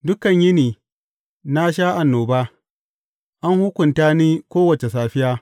Dukan yini na sha annoba; an hukunta ni kowace safiya.